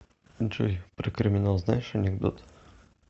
джой про криминал знаешь анекдот